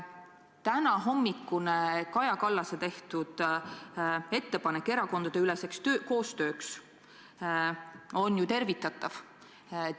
Tänahommikune Kaja Kallase tehtud ettepanek erakondadeüleseks koostööks on väga tervitatav.